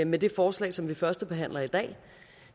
med det forslag som vi førstebehandler i dag